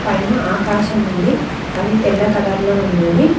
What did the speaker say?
పైన ఆకాశముంది అది తెల్ల కలర్ లో ఉన్నవి.